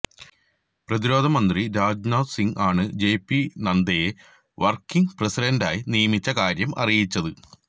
പ്രതിരോധ മന്ത്രി രാജ്നാഥ് സിംഗ് ആണ് ജെപി നദ്ദയെ വര്ക്കിംഗ് പ്രസിഡന്റായി നിയമിച്ച കാര്യം അറിയിച്ചത്